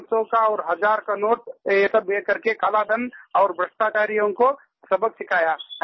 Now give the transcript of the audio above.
पाँच सौ का और हज़ार का नोट ये सब देखकर के काला धन और भ्रष्टाचारियों को सबक सिखाया